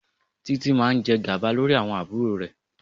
Títí máa jẹ gàba lórí àwọn àbúrò rẹ̀.